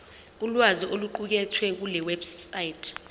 ulwazi oluqukethwe kulewebsite